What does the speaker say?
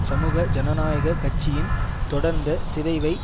சமூக ஜனநாயக கட்சியின் தொடர்ந்த சிதைவை